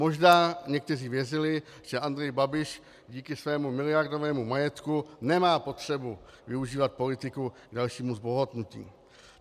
Možná někteří věřili, že Andrej Babiš díky svému miliardovému majetku nemá potřebu využívat politiku k dalšímu zbohatnutí.